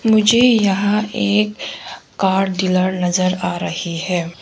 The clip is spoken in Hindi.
मुझे यहां एक कार डीलर नजर आ रही है।